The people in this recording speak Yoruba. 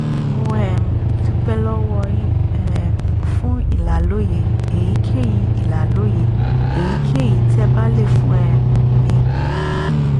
mo um dúpẹ́ lọ́wọ́ yín um fún ìlàlóye èyíkéyìí ìlàlóye èyíkéyìí tẹ́ ẹ bá lè fún um mi